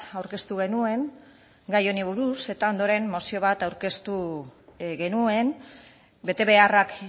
aurkeztu genuen gai honi buruz eta ondoren mozio bat aurkeztu genuen betebeharrak